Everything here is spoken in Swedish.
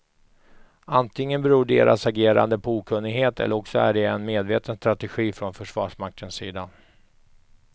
Antingen beror deras agerande på okunnighet eller också är det är en medveten strategi från försvarsmaktens sida.